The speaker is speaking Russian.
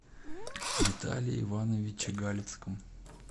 виталии ивановиче галицком